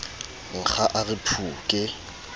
nkga a re phu ke